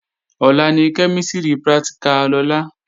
Ọ̀la ni kẹ́mísìrì pratìkà Lọlá